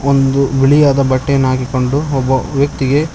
ಒಂದು ಬಿಳಿಯಾದ ಬಟ್ಟೆಯನ್ನ ಹಾಕಿಕೊಂಡು ಒಬ್ಬ ವ್ಯಕ್ತಿಗೆ--